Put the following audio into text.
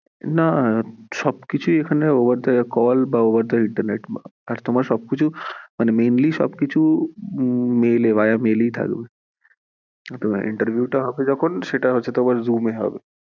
না, সব কিছুই এখানে over the call বা over the internet আর তোমার সবকিছু মানে mainly সবকিছু mail এ via mail এই থাকবে, interview টা হবে যখন সেটা হচ্ছে তোমার zoom এ হবে